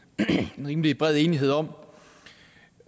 rimelig bred enighed om